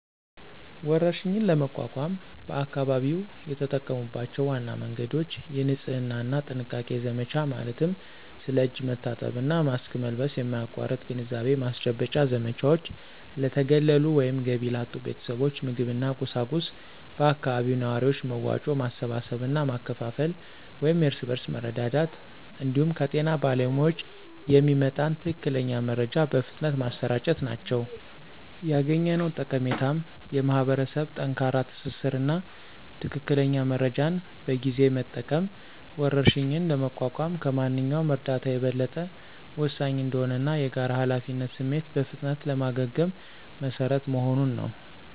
ወረርሽኝን ለመቋቋም በአካባቢው የተጠቀሙባቸው ዋና መንገዶች: የንጽህና እና ጥንቃቄ ዘመቻ ማለትም ስለ እጅ መታጠብ እና ማስክ መልበስ የማያቋርጥ ግንዛቤ ማስጨበጫ ዘመቻዎች፣ ለተገለሉ ወይም ገቢ ላጡ ቤተሰቦች ምግብና ቁሳቁስ በአካባቢው ነዋሪዎች መዋጮ ማሰባሰብ እና ማከፋፈል (የእርስ በርስ መረዳዳት) እንዲሁም ከጤና ባለሙያዎች የሚመጣን ትክክለኛ መረጃ በፍጥነት ማሰራጨት ናቸው። ያገኘነው ጠቀሜታም የማኅበረሰብ ጠንካራ ትስስር እና ትክክለኛ መረጃን በጊዜ መጠቀም ወረርሽኝን ለመቋቋም ከማንኛውም እርዳታ የበለጠ ወሳኝ እንደሆነ እና የጋራ ኃላፊነት ስሜት በፍጥነት ለማገገም መሰረት መሆኑን ነው።